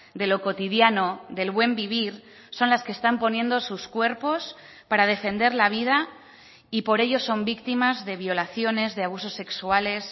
de lo cotidiano del buen vivir son las que están poniendo sus cuerpos para defender la vida y por ello son víctimas de violaciones de abusos sexuales